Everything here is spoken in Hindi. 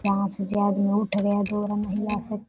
यहाँ से जो आदमी उठ गया महिला सब --